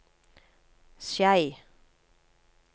Skei